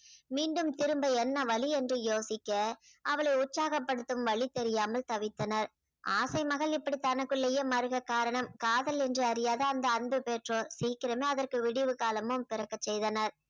மீண்டும் திரும்ப என்ன வழி என்று யோசிக்க அவளை உற்சாகப்படுத்தும் வழி தெரியாமல் தவித்தனர் ஆசை மகள் இப்படி தனக்குள்ளேயே மருக காரணம் காதல் என்று அறியாத அந்த அன்பு பெற்றோர் சீக்கிரமே அதற்கு விடிவுகாலமும் பிறக்கச் செய்தனர்